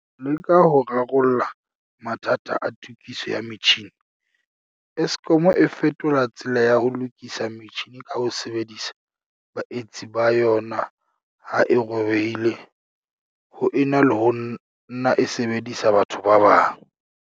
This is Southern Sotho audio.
Ho leka ho rarolla mathata a tokiso ya metjhini, Eskom e fetola tsela ya ho lokisa metjhini ka ho sebedisa baetsi ba yona ha e robehile ho ena le ho nna e sebedisa batho ba bang.